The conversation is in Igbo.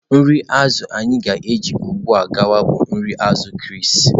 Nri azụ̀ anyị ga-eji ugbu a gawa bụ nri azù Chris